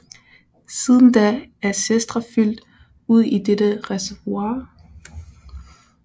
Siden da er Sestra flydt ud i dette reservoir